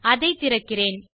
அதை திறக்கிறேன்